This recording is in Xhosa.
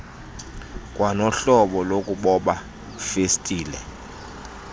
kwanohlobo lokuboba festile